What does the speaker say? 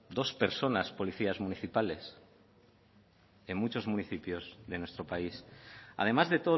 dos personas policías municipales en muchos municipios de nuestro país además de